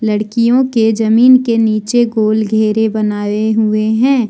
लड़कियों के जमीन के नीचे गोल घेरे बनाए हुए हैं।